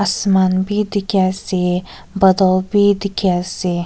sman wi dikhi ase botol wi dikhi ase.